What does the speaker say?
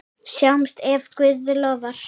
Sjáumst ef Guð lofar.